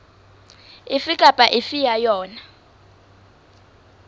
efe kapa efe ya yona